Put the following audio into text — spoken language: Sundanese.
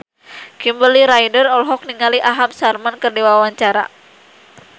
Kimberly Ryder olohok ningali Aham Sharma keur diwawancara